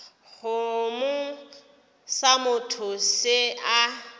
kgomo sa motho se a